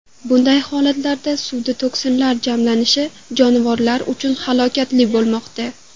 Bunday holatlarda suvda toksinlar jamlanishi jonivorlar uchun halokatli bo‘lmoqda.